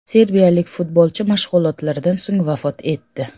Serbiyalik futbolchi mashg‘ulotlardan so‘ng vafot etdi.